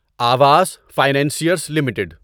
Awas financiers limited